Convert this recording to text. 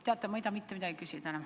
Teate, ma ei taha mitte midagi enam küsida.